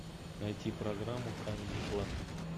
найти программу камеди клаб